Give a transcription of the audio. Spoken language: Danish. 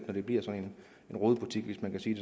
når det bliver sådan en rodebutik hvis man kan sige